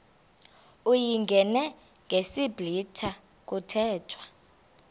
uyingene ngesiblwitha kuthethwa